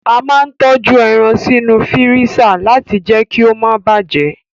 A máa n tọju ẹran sínú fírísà láti jẹ kí o ma bàjẹ́.